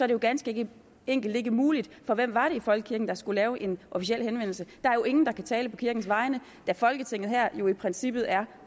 det jo ganske enkelt ikke muligt for hvem var det i folkekirken der skulle lave en officiel henvendelse der er jo ingen der kan tale på kirkens vegne da folketinget her jo i princippet er